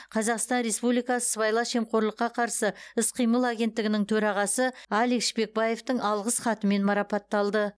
қазақстан республикасы сыбайлас жемқорлыққа қарсы іс қимыл агенттігінің төрағасы алик шпекбаевтың алғыс хатымен марапатталды